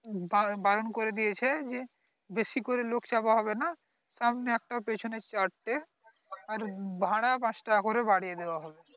বা বাড়ন করে দিয়েছে যে বেশি করে লোক চাপা হবে না সামানে একটা পিছনে চারটে আর ভাড়া পাঁচ টাকা করে বারিয়ে দেওয়া হলো